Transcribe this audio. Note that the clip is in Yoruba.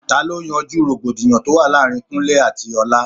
Ta ló yanjú rògbòdìyàn tó wà láàárín Kúnlẹ́ àti Ọlá?